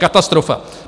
Katastrofa!